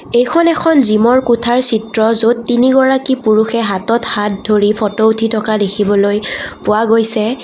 এইখন এখন জিমৰ কোঠাৰ চিত্ৰ য'ত তিনিগৰাকী পুৰুষে হাতত হাত ধৰি ফটো উঠি থকা দেখিবলৈ পোৱা গৈছে।